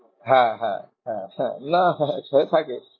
হ্যাঁ হ্যাঁ হ্যাঁ না সে থাকে।